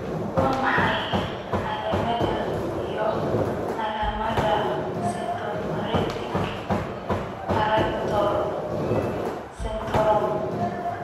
Waa maxay calaamadaha iyo calaamadaha Cryptomicrotia brachydactyly syndrome?